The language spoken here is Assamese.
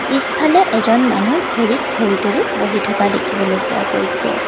পিছফালে এজন মানুহ ভৰিত ভৰি তোলি বহি থকা দেখিবলৈ পোৱা গৈছে।